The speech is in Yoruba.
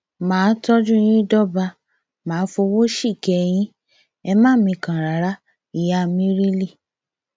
má a tọjú yín dọba má a fọwọ síkẹ yín ẹ má mikàn rárá ìyá mírílì